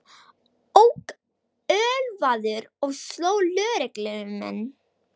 Ók ölvaður og sló lögreglumenn